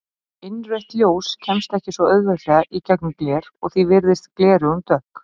Innrautt ljós kemst ekki svo auðveldlega í gegnum gler og því virðast gleraugun dökk.